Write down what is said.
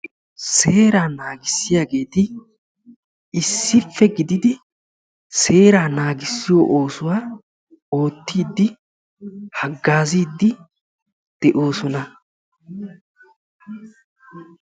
seeraa naagisiyaagetti issippe giididi seeraa naagisiyoo oosuwaa oottiidi hagaazziidi de'oosona.